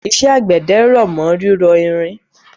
Iṣẹ́ àgbẹ̀dẹ r'ọ̀mọ́ rírọ irin